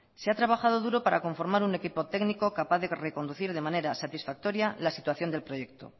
se ha trabajado duro para conformar un equipo técnico capaz de reconducir de manera satisfactoria la situación del proyecto